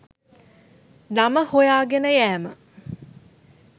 නම හොයාගෙන යෑම.